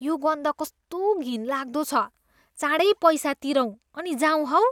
यो गन्ध कस्तो घिनलाग्दो छ। चाँडै पैसा तिरौँ अनि जाऊँ हौ।